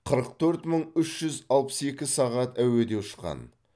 қырық төрт мың үш жүз алпыс екі сағат әуеде ұшқан